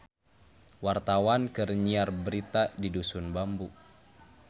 Wartawan keur nyiar berita di Dusun Bambu